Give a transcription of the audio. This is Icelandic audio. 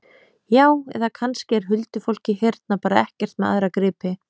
Já, eða kannski er huldufólkið hérna bara ekkert með aðra gripi?